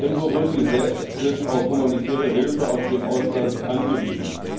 in Burundi selbst sind auf humanitäre Hilfe aus dem Ausland angewiesen.